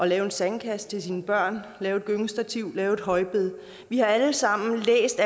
lave en sandkasse til sine børn lave et gyngestativ lave et højbed vi har alle sammen læst